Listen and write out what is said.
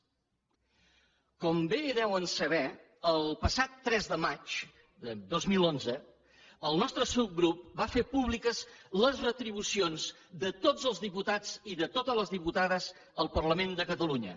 com bé deuen saber el passat tres de maig de dos mil onze el nostre subgrup va fer públiques les retribucions de tots els diputats i de totes les diputades al parlament de catalunya